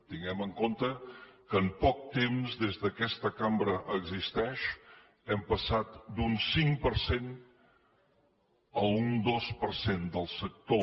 tinguem en compte que en poc temps des que aquesta cambra existeix hem passat d’un cinc per cent a un dos per cent del sector